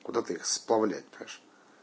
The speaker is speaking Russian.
куда-то их сплавлять даже